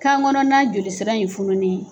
Kan kɔnɔn na joli sira in fununen don.